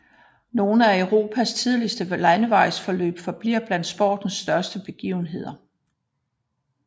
Nogle af Europas tidligste landevejsløb forbliver blandt sportens største begivenheder